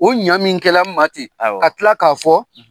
O ɲa min kɛla n ma ten , ka tila ka fɔ